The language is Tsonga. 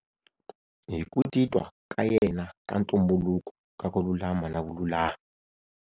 Hi ku titwa ka yena ka ntumbuluko ka ku lulama na vululami.